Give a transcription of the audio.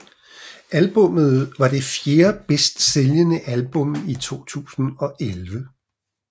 Albummet var det fjerde bedst sælgende album i 2011